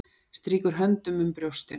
Strýkur höndunum um brjóstin.